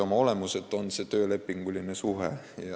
Oma olemuselt on see siis töölepinguline suhe.